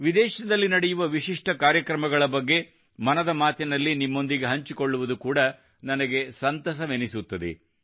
ವಿದೇಶದಲ್ಲಿ ನಡೆಯುವ ವಿಶಿಷ್ಟ ಕಾರ್ಯಕ್ರಮಗಳ ಬಗ್ಗೆ ಮನದ ಮಾತಿನಲ್ಲಿನಿಮ್ಮೊಂದಿಗೆ ಹಂಚಿಕೊಳ್ಳುವುದು ನನಗೆ ಕೂಡಾ ಸಂತಸವೆನಿಸುತ್ತದೆ